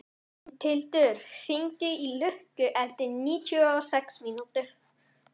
Mundhildur, hringdu í Lukku eftir níutíu og sex mínútur.